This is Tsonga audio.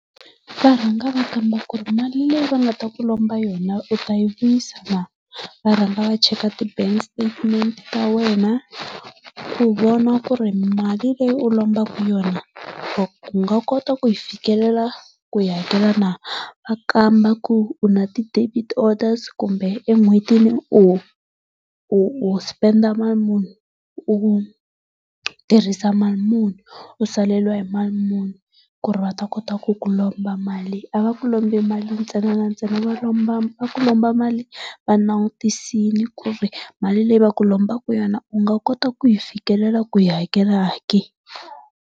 Va rhanga va kamba ku ri mali leyi va nga ta ku lomba yona u tayi vuyina na. Va rhanga va check ti bank statement ta wena ku vona ku ri mali leyi u lombaka yona u nga kota ku yi fikelela ku yi hakela na. Va kamba ku u na ti debit orders kumbe en'hwetini u u u spend mali muni u tirhisa mali muni u saleriwa hi mali muni ku ri va ta kota ku ku lomba mali a va ku lombi mali ntsena na ntsenaa va lomba va ku lomba mali va langutisile ku ri mali leyi va ku lombaka yona u nga kota ku yi fikelela ku yi hakela ke.